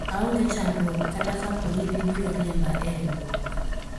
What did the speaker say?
aonge chandruok kata kapo ni gibiro riemba e riwruok